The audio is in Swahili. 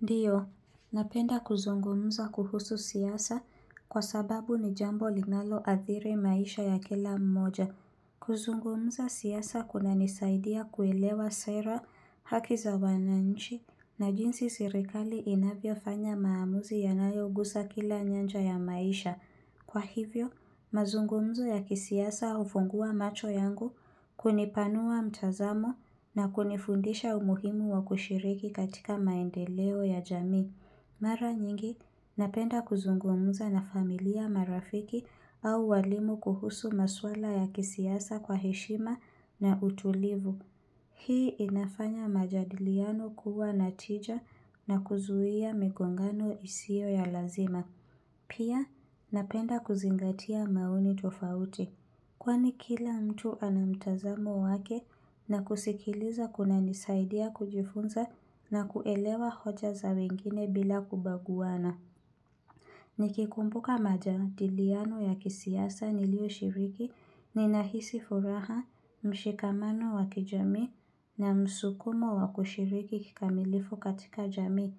Ndiyo, napenda kuzungumza kuhusu siasa kwa sababu ni jambo linalo athiri maisha ya kila mmoja. Kuzungumza siasa kuna nisaidia kuelewa sera haki za wananchi na jinsi serikali inavyofanya maamuzi yanayo guza kila nyanja ya maisha. Kwa hivyo, mazungumzo ya kisiasa hufungua macho yangu kunipanua mtazamo na kunifundisha umuhimu wa kushiriki katika maendeleo ya jamii. Mara nyingi, napenda kuzungumza na familia marafiki au walimu kuhusu maswala ya kisiasa kwa heshima na utulivu. Hii inafanya majadiliano kuwa na tija na kuzuia migongano isio ya lazima. Pia napenda kuzingatia maoni tofauti, kwani kila mtu ana mtazamo wake na kusikiliza kuna nisaidia kujifunza na kuelewa hoja za wengine bila kubaguwana. Nikikumbuka majadiliano ya kisiasa nilio shiriki ninahisi furaha mshikamano wa kijamii na msukumo wa kushiriki kikamilifu katika jamii.